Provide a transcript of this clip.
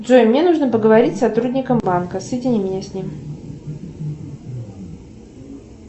джой мне нужно поговорить с сотрудником банка соедини меня с ним